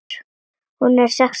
Hún er sextán ára.